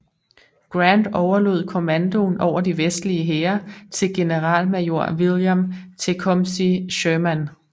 Grant overlod kommandoen over de vestlige hære til generalmajor William Tecumseh Sherman